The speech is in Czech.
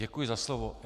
Děkuji za slovo.